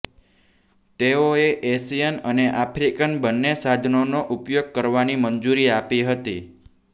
તેઓએ એશિયન અને આફ્રિકન બંને સાધનોનો ઉપયોગ કરવાની મંજૂરી આપી હતી